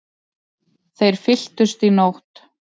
Þeir fylltust í nótt.